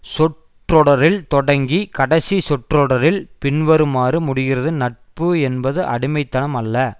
சொற்றொடரில் தொடங்கி கடைசிச் சொற்றொடரில் பின்வருமாறு முடிகிறது நட்பு என்பது அடிமை தனம் அல்ல